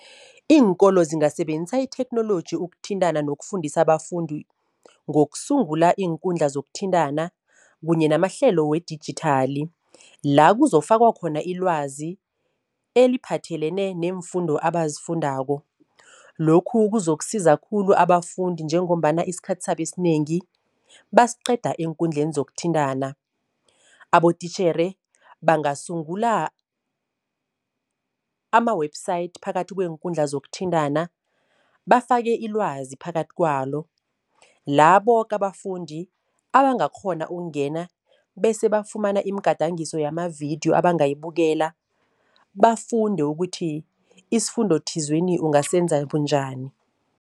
Iinkolo zingasebenzisa itheknoloji ukuthintana nokufundisa abafundi, ngokusungula iinkundla zokuthintana kunye namahlelo wedijithali. La kuzofakwa khona ilwazi eliphathelene neemfundo abazifundako. Lokhu kuzokusiza khulu abafundi njengombana isikhathi sabo esinengi, basiqeda eenkundleni zokuthintana. Abotitjhere bangasungula ama-website phakathi kweenkundla zokuthintana, bafake ilwazi phakathi kwalo la boke abafundi abangakghona ukungena bese bafumana imigadangiso yamavidiyo abangayibukela, bafunde ukuthi isifundo thizeni ungasenza bunjani.